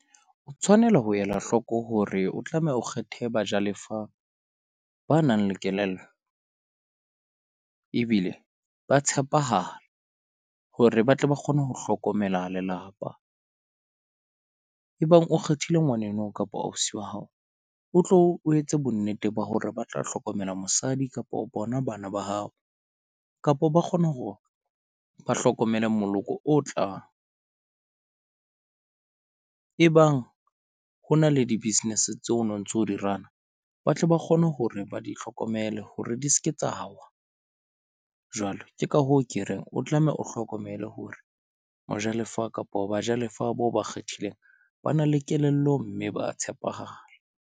O tshwanela ho ela hloko hore o tlameha o kgethe bajalefa ba nang le kelello. Ebile ba tshepahala hore ba tle ba kgone ho hlokomela lelapa. Ebang o kgethile ngwaneno kapa ausi wa hao, o tlo o etse bonnete ba hore ba tla hlokomela mosadi kapo bona bana ba hao kapo ba kgona hore ba hlokomele moloko o tlang. Ebang ho na le di-business tseo, no ntso di-run-a, ba tle ba kgone hore ba di hlokomele hore di seke tsa wa. Jwale ke ka hoo ke reng o tlameha o hlokomele hore mojalefa kapa o bajalefa boo ba kgethileng ba na le kelello mme ba tshepahala.